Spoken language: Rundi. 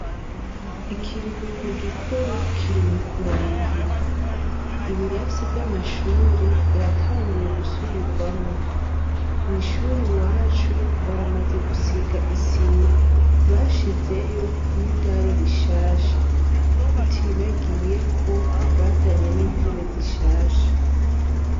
Ikiruhuko gikuru kiri mu kurangira, ibirasi vy'amashure vyatanguye gusubirwamo, mw’ishuri iwacu baramaze gusiga isima bashizeyo n'idari rishasha, tutibagiye ko bazanye n'intebe zishasha.